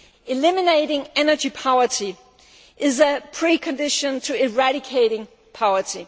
Eliminating energy poverty is a precondition to eradicating poverty.